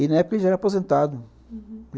E na época ele já era aposentado. Uhum.